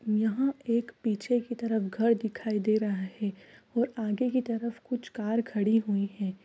यहाँ एक पीछे की तरफ घर दिखाई दे रहा है और आगे की तरफ कुछ कार खड़ी हुईं है।